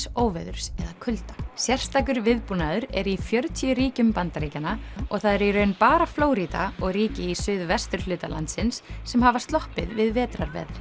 óveðurs eða kulda sérstakur viðbúnaður er í fjörutíu ríkjum Bandaríkjanna og það eru í raun bara Flórída og ríki í suðvesturhluta landsins sem hafa sloppið við vetrarveðrið